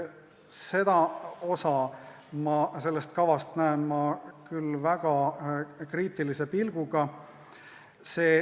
Seda osa kavast vaatan ma küll väga kriitilise pilguga.